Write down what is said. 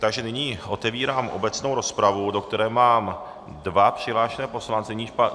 Takže nyní otevírám obecnou rozpravu, do které mám dva přihlášené poslance.